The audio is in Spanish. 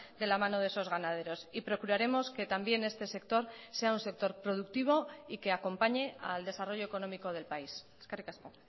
de la mano de esos ganaderos y procuraremos que también este sector sea un sector productivo y que acompañe al desarrollo económico del país eskerrik asko